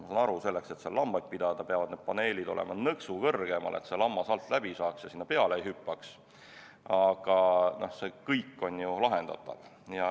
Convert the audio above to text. Ma saan aru, selleks, et seal lambaid pidada, peavad need paneelid olema nõksu kõrgemal, et lammas alt läbi saaks ja sinna peale ei hüppaks, aga see kõik on lahendatav.